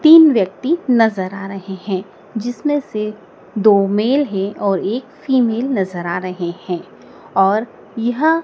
तीन व्यक्ति नजर आ रहे हैं जिसमें से दो मेल है और एक फीमेल नजर आ रहे हैं और यह--